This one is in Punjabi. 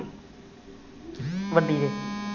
ਵੱਡੀ ਦੇ